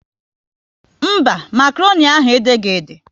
Mba, makroni ahụ e deghị ede?